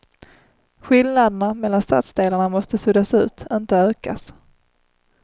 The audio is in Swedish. Skillnaderna mellan stadsdelarna måste suddas ut, inte ökas.